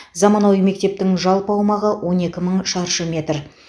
заманауи мектептің жалпы аумағы он екі мың шаршы метр